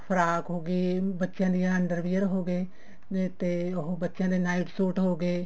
frock ਹੋਗੀ ਬੱਚਿਆਂ ਦੇ underwear ਹੋਗੇ ਨਹੀਂ ਤੇ ਉਹ ਬੱਚਿਆਂ ਦੇ night ਸੂਟ ਹੋਗੇ